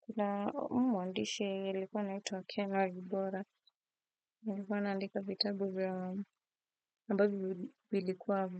Kuna huu mwandishi alikuwa anaitwa Ken Walibora, alikuwa anaandika vitabu vya ambavyo vilikuwa